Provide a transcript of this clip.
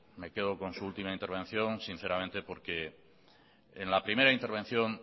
porque en la primera intervención